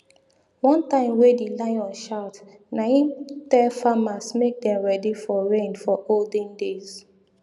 one time wey di lion shout na im tell farmers make dem ready for rain for olden days